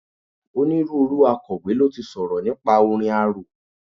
Onírúurú Akọ̀wé ló ti sọ̀rọ̀ nípa orin arò.